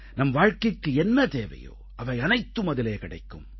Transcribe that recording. நம் வாழ்க்கைக்கு என்ன தேவையோ அவை அனைத்தும் அதிலே கிடைக்கும்